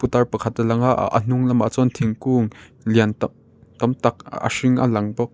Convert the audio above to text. putar pakhat a langa aa a hnung lamah chuan thingkung lian tak tam tak a hring a lang bawk.